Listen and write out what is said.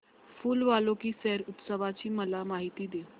फूल वालों की सैर उत्सवाची मला माहिती दे